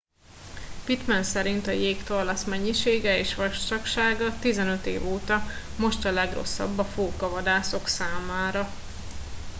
pittman szerint a jégtorlasz mennyisége és vastagsága 15 év óta most a legrosszabb a fókavadászok számára